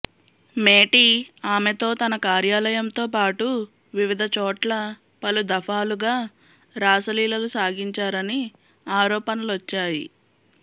మేటీ ఆమెతో తన కార్యాలయంతో పాటు వివిధ చోట్ల పలు దఫాలుగా రాసలీలలు సాగించారని ఆరోపణలొచ్చాయి